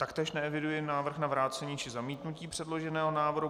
Taktéž neeviduji návrh na vrácení či zamítnutí přeloženého návrhu.